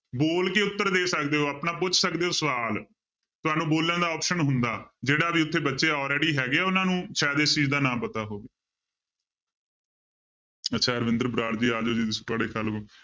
ਬੋਲ ਕੇ ਉੱਤਰ ਦੇ ਸਕਦੇ ਹੋ ਆਪਣਾ ਪੁੱਛ ਸਕਦੇ ਹੋ ਸਵਾਲ, ਤੁਹਾਨੂੰ ਬੋਲਣ ਦਾ option ਹੁੰਦਾ, ਜਿਹੜਾ ਵੀ ਉੱਥੇ ਬੱਚੇ already ਹੈਗੇ ਉਹਨਾਂ ਨੂੰ ਸ਼ਾਇਦ ਇਸ ਚੀਜ਼ ਦਾ ਨਾਮ ਪਤਾ ਹੋਵੇ ਅੱਛਾ ਰਵਿੰਦਰ ਬਰਾੜ ਜੀ